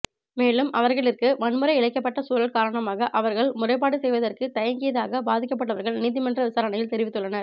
மேலும் அவர்களிற்கு வன்முறை இழைக்கப்பட்ட சூழல் காரணமாக அவர்கள் முறைப்பாடு செய்வதற்கு தயங்கியதாக பாதிக்கப்பட்டவர்கள் நீதிமன்ற விசாரணையில் தெரிவித்துள்ளனர்